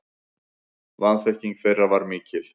Vanþekking þeirra var mikil.